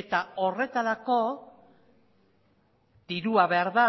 eta horretarako dirua behar da